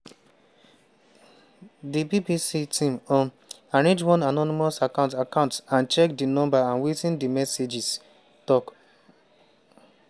di bbc team um arrange one anonymous account account and check di number and wetin di messages tok.